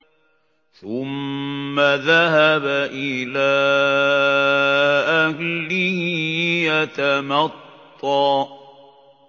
ثُمَّ ذَهَبَ إِلَىٰ أَهْلِهِ يَتَمَطَّىٰ